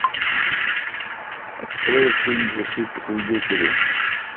открой фильм защита свидетелей